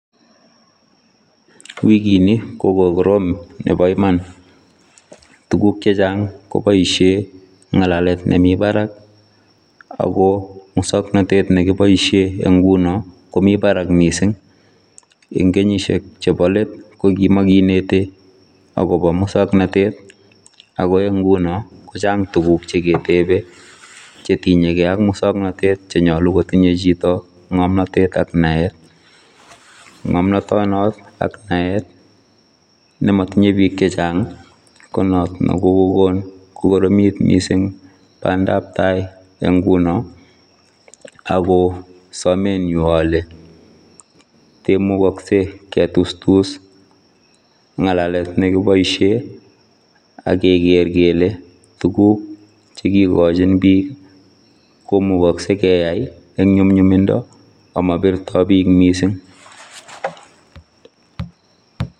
Wikini kokogorom nebo iman tuguk chechang koboisie ngalalet nemii barak ako musoknotet nekiboisie nguno komi barak mising eng kenyisiek chebolet kokimakineti akobo musoknotet akoeng nguno kochang tuguk cheketebe chetinye kei ak musoknotet chenyalu kotinye chito ngomnotyetak naet. Ngomnotono ak naet nematinye biik chehchang konot nekokokon kokoromit mising bandabtai eng nguno ako sometnyu ale temukaksei ketustus ngalalet nekiboisie akeker kele tuguk chekikochin biik komukoksei keai eng nyumnyuminda amabirtoi biik mising.